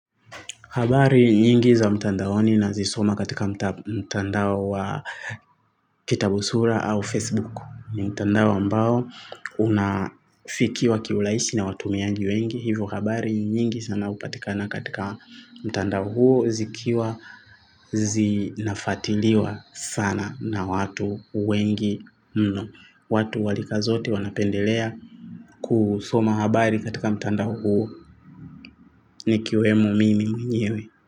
Habari nyingi za mtandaoni nazisoma katika mtandao wa kitabusura au Facebook. Mtandao ambao unafikiwa kiurahisi na watumiangi wengi. Hivo habari nyingi sana hupatikana katika mtandao huo zikiwa zinafuatiliwa sana na watu wengi mno. Watu wa rika zote wanapendelea kusoma habari katika mtandao huo nikiwemo mimi mwenyewe.